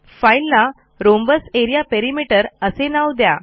फाईलला rhombus area perimeter असे नाव द्या